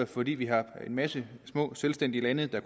fordi vi har en masse små selvstændige lande der